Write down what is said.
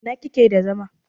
in kike da zama?